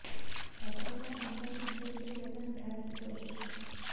छात्रों को आमरण अनशन से जबरन उठाने की कोशिश